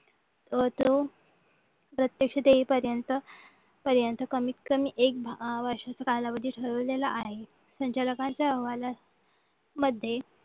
व तो प्रत्यक्ष देईपर्यंत पर्यंत कमीत कमी एक वर्षाचा कालावधी ठेवलेला आहे संचालकांच्या अहवालामध्ये